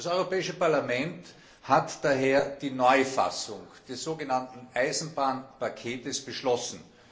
Das Europäische Parlament hat daher die Neufassung des sogenannten Eisenbahnpakets beschlossen.